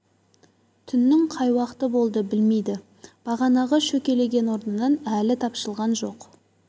түннің қай уақыты болды білмейді бағанағы шөкелеген орнынан әлі тапжылған жоқ